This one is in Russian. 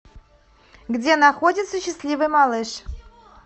где находится счастливый малыш